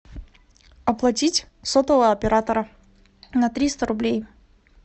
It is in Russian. оплатить сотового оператора на триста рублей